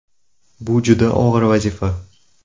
Bu juda og‘ir vazifa.